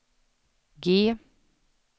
G